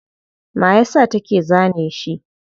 Mayasa take zane shi?